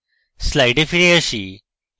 slides ফিরে আসি